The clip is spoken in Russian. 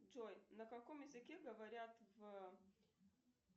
джой на каком языке говорят в